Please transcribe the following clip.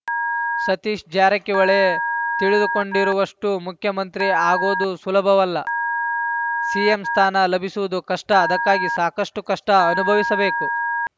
ಸತೀಶ ಜಾರಕಿಹೊಳಿ ತಿಳಿದುಕೊಂಡಿರುವಷ್ಟು ಮುಖ್ಯಮಂತ್ರಿ ಆಗೋದು ಸುಲಭವಲ್ಲ ಸಿಎಂ ಸ್ಥಾನ ಲಭಿಸುವುದು ಕಷ್ಟ ಅದಕ್ಕಾಗಿ ಸಾಕಷ್ಟುಕಷ್ಟಅನುಭವಿಸಬೇಕು